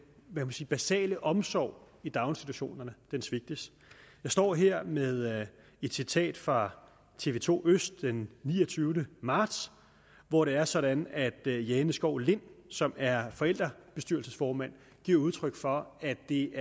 basale omsorg i daginstitutionerne svigtes jeg står her med et citat fra tv to den niogtyvende marts hvor det er sådan at jane skov lind som er forældrebestyrelsesformand giver udtryk for at det